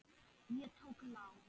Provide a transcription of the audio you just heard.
Ég tók lán.